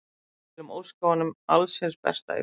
Við viljum óska honum alls hins besta í framtíðinni.